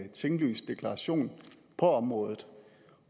en tinglyst deklaration på området